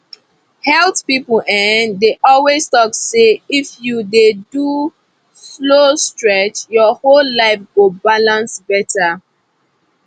health people dey always talk say if you dey do slow stretch your whole life go balance better